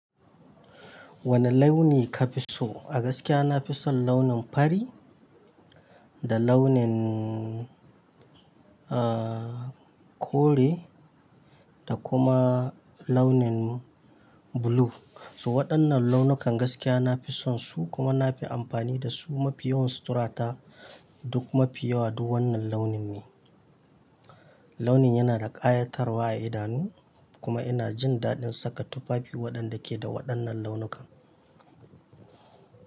Wane launi ka fi so? A gaskiya na fi son launin fari, da launin, eh, kore da kuma launin blue. So waɗannan launukan, gaskiya na fi son su, kuma na fi amfani da su, mafi yawan suturata, duk mafi yawa duk wannan launin ne. Launin yana da ƙayatarwa a idanu, kuma ina jin daɗin saka tufafi waɗanda ke da waɗannan launukan.